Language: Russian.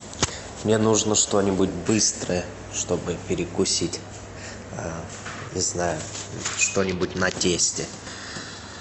мне нужно что нибудь быстрое чтобы перекусить не знаю что нибудь на тесте